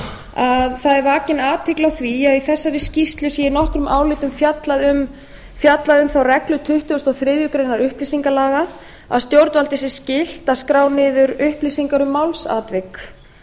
það er vakin athygli á því að í þessari skýrslu sé í nokkrum álitum fjallað um þá reglu tuttugasta og þriðju grein upplýsingalaga að stjórnvaldi sé skylt að skrá niður upplýsingar um málsatvik